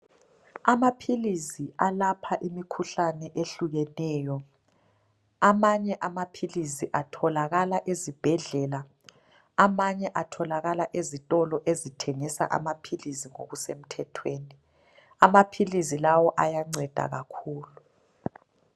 Amaphilisi alapha imikhuhlane ehlukeneyo amanye amaphilisi atholakala ezibhedlela amanye atholakala ezitolo ezithengisa amaphilisi ngokusemthethweni. Amaphilisi lawo ayanceda kakhulu.